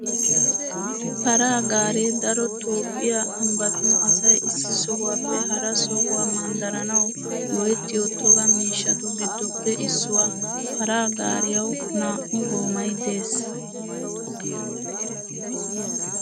Paraa gaaree daro Toophphiyaa ambbatun asay issi sohuwaappe hara sohuwaa manddaranawu go'ettiyo toga miishshatu giddoppe issuwaa. Paraa gaariyawu naa'u goomay de"ees.